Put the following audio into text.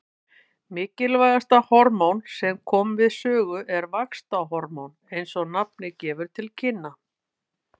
Mikilvægast hormóna sem koma við sögu er vaxtarhormón eins og nafnið gefur til kynna.